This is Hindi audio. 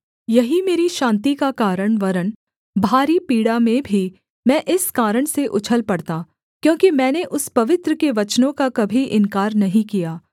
यही मेरी शान्ति का कारण वरन् भारी पीड़ा में भी मैं इस कारण से उछल पड़ता क्योंकि मैंने उस पवित्र के वचनों का कभी इन्कार नहीं किया